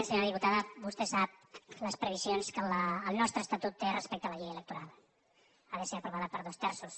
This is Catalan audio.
senyora diputada vostè sap les previsions que el nostre estatut té respecte a la llei electoral ha de ser aprovada per dos terços